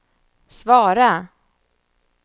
svara